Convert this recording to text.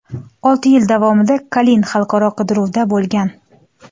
Olti yil davomida Kalin xalqaro qidiruvda bo‘lgan.